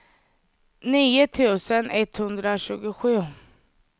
nio tusen etthundratjugosju